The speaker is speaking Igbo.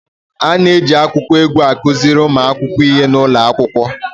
A na-eji akụkọ egwu a kuziri ụmụazị ihe n'ụlọ akwụkwọ.